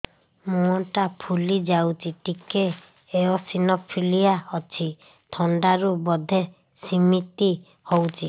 ମୁହଁ ଟା ଫୁଲି ଯାଉଛି ଟିକେ ଏଓସିନୋଫିଲିଆ ଅଛି ଥଣ୍ଡା ରୁ ବଧେ ସିମିତି ହଉଚି